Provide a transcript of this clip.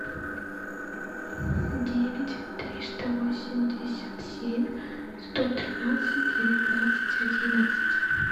девять триста восемьдесят семь сто тринадцать девятнадцать одиннадцать